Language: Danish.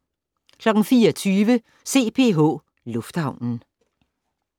04:20: CPH Lufthavnen